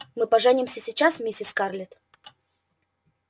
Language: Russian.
мы поженимся сейчас миссис скарлетт